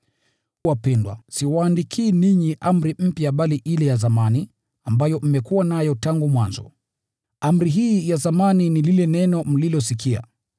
Wapendwa, siwaandikii ninyi amri mpya bali ile ya zamani, ambayo mmekuwa nayo tangu mwanzo. Amri hii ya zamani ni lile neno mlilosikia.